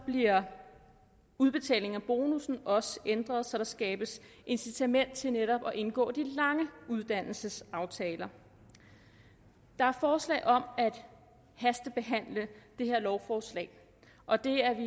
bliver udbetalingen af bonussen også ændret så der skabes incitament til netop at indgå de lange uddannelsesaftaler der er forslag om at hastebehandle det her lovforslag og det er